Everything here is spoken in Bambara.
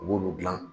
U b'olu dilan